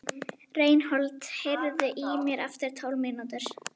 Reinhold, heyrðu í mér eftir tólf mínútur.